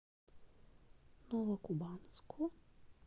новокубанску